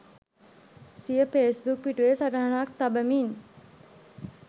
සිය ෆේස්බුක් පිටුවේ සටහනක් තබමින්